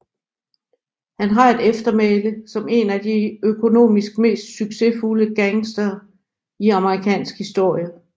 Han har et eftermæle som en af de økonomisk mest succesfulde gangstere i amerikansk historie